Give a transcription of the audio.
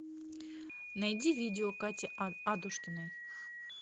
найди видео кати адушкиной